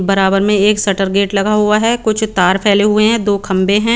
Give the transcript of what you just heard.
बराबर में एक शटर गेट लगा हुआ है कुछ तार फ़ले हुए है दो खम्बे है।